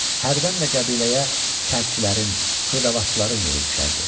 Hərdən də qəbiləyə çərçilərin, xırdavatçıların yolu düşərdi.